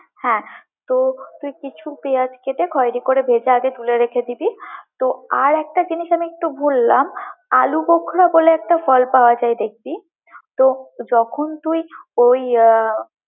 হ্যাঁ, তো তুই কিছু পেয়াঁজ কেটে খয়েরি করে ভেজে তুলে রেখে দিবি, তো আর একটা জিনিস আমি একটু ভুললাম, আলু বখরা বলে একটা ফল পাওয়া যায় দেখবি, তো যখন তুই ওই। আহ